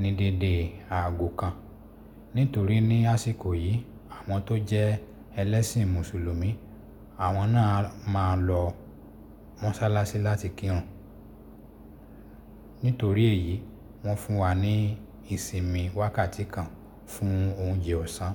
ní dédé aago kan nítorí ní àsìkò yìí àwọn tó jẹ ẹlẹ́sìn mùsùlùmí àwọn náà a máa lọ mọ́sálásí láti kírun. Nítorí èyí wọ́n fún wa ní ìsinmi wákàtí kan fún oúnjẹ ọ̀sán.